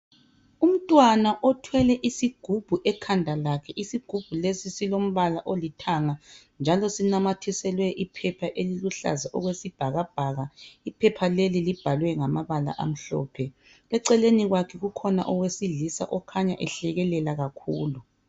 Umntwana othwele isigubhu ekhanda lakhe, isigubhu lesi silombala olithanga njalo sinamathiselwe iphepha eliluhlaza okwesibhakabhaka. Iphepha leli libhalwe ngamabala amhlophe . Eceleni kwakhe kukhona owesilisa okhanya ehlekelela kakhulu.